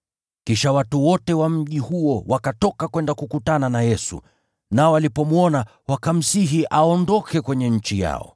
Kisha watu wote wa mji huo wakatoka kwenda kukutana na Yesu. Nao walipomwona wakamsihi aondoke kwenye nchi yao.